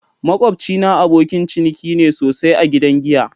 Makwabcina abokin ciniki ne sosai a gidan giya.